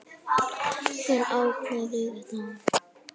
Hver ákveður þetta?